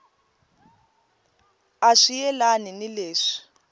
a swi yelani ni leswi